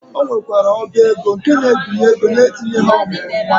Ọ nwekwara ọba ego nke na-ebinye ego na-etinyeghị ọ mụrụ nwa.